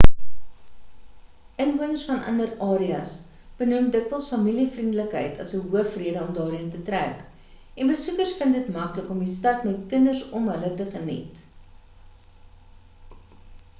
inwoners van ander areas benoem dikwels familie-vriendelikheid as 'n hoofrede om daarheen te trek en besoekers vind dit maklik om die stad met kinders om hulle te geniet